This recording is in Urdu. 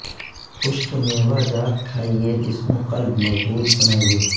خشک میوہ جات کھائیے جسم و قلب مضبوط بنائیے